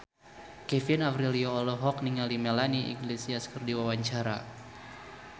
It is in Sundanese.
Kevin Aprilio olohok ningali Melanie Iglesias keur diwawancara